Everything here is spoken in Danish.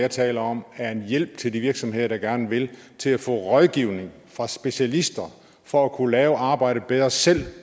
jeg taler om er en hjælp til de virksomheder som gerne vil til at få rådgivning fra specialister for at kunne lave arbejdet bedre selv